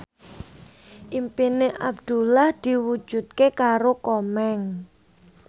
impine Abdullah diwujudke karo Komeng